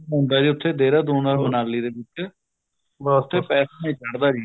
ਹੁੰਦਾ ਜੀ ਉੱਥੇ ਦੇਹਰਾਦੂਨ or ਮਨਾਲੀ ਦੇ ਵਿੱਚ ਪਰ ਉੱਥੇ ਨੀ ਚੜਦਾ ਜੀ